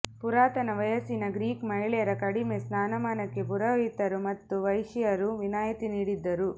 ಪುರಾತನ ವಯಸ್ಸಿನ ಗ್ರೀಕ್ ಮಹಿಳೆಯರ ಕಡಿಮೆ ಸ್ಥಾನಮಾನಕ್ಕೆ ಪುರೋಹಿತರು ಮತ್ತು ವೇಶ್ಯೆಯರು ವಿನಾಯಿತಿ ನೀಡಿದ್ದರು